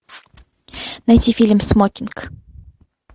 найти фильм смокинг